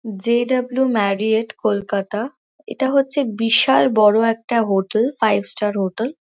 J W Marriott Kolkata এটা হচ্ছে বিশাল বড়ো একটা হোটেল ফাইভ ষ্টার হোটেল --